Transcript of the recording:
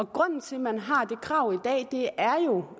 grunden til at man har det krav i dag